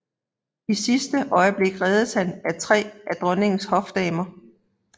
I sidste øjeblik reddes han af tre af dronningens hofdamer